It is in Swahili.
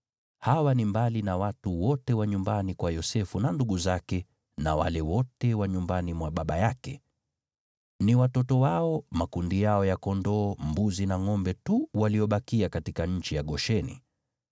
Hawa ni mbali na watu wote wa nyumbani kwa Yosefu, na ndugu zake, na wale wote wa nyumbani mwa baba yake. Ni watoto wao, makundi yao ya kondoo, mbuzi na ngʼombe tu waliobakia katika nchi ya Gosheni.